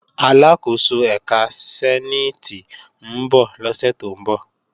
Aláàkóso ẹ̀ka sẹ́níìtì ń bọ̀ lọ́sẹ̀ tó ń bọ̀